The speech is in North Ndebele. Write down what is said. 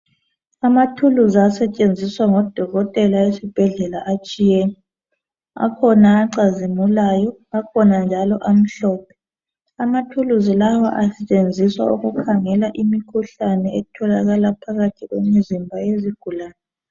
Amaphilisi asetshenziswa ngodokotela esibhedlela atshiyene. Akhona acazimulayo akhona njalo amhlophe. Amaphilisi lawa asetshenziswa ukukhangela imikhuhlane etholakala phakathi kwemizimba yezigulani